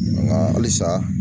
Nka halisa.